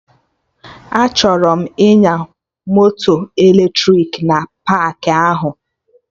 Achọrọ m ịnya moto eletrik na paakị ahụ